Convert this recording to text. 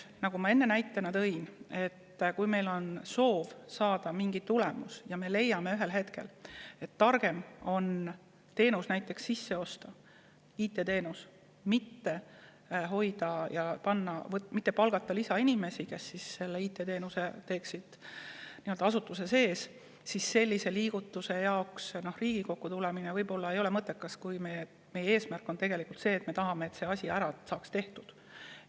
Nagu ma enne näiteks tõin, on nii, et kui meil on soov saada mingi tulemus ja me leiame ühel hetkel, et targem on IT-teenus sisse osta, mitte palgata lisainimesi, kes teeksid seda asutuse sees, siis sellise liigutuse pärast Riigikokku tulla ei pruugi olla mõttekas, kuna meie eesmärk on tegelikult see, et mingi asi saaks tehtud.